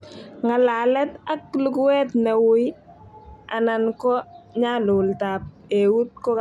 Ng'alalet ak luguet ne ui anan ko nyalulte ab eut ko kabarunoik chetai